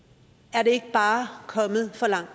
er det ikke bare kommet for langt